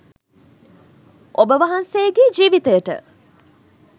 ඔබවහන්සේගේ ජීවිතයට